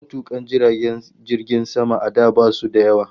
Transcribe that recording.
Matukan jiragen sama a da basu da yawa